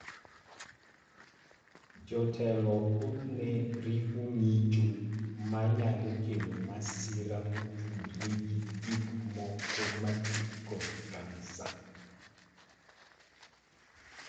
Jotelo thothne riwo ng�icho ma nyalo kelo masira motudore gi gik moko mati kod kansa.